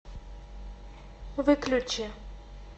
выключи